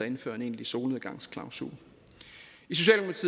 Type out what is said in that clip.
indføre en egentlig solnedgangsklausul